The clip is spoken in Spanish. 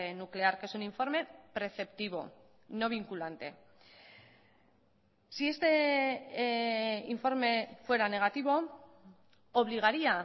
nuclear que es un informe preceptivo no vinculante si este informe fuera negativo obligaría